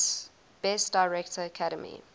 best director academy